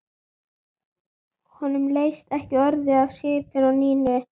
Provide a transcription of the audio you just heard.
Honum leist ekki orðið á svipinn á Nínu.